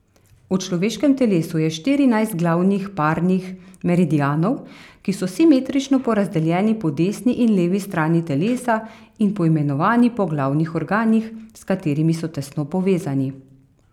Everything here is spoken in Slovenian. V človeškem telesu je štirinajst glavnih parnih meridianov, ki so simetrično porazdeljeni po desni in levi strani telesa in poimenovani po glavnih organih, s katerimi so tesno povezani.